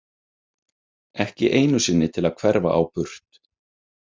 Ekki einu sinni til að hverfa á burt.